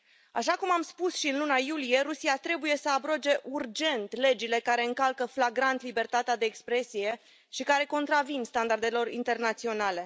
Așa cum am spus și în luna iulie, Rusia trebuie să abroge urgent legile care încalcă flagrant libertatea de expresie și care contravin standardelor internaționale.